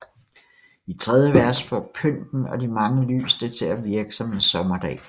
I tredje vers får pynten og de mange lys det til at virke som en sommerdag